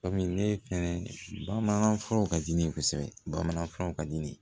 Kɔmi ne fɛnɛ bamana furaw ka di ne ye kosɛbɛ bamanankan furaw ka di ne ye